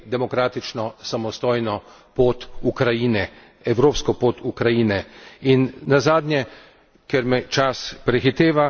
Druga stvar, ki jo moramo, je nadalje podpirati demokratično samostojno pot Ukrajine, evropsko pot Ukrajine.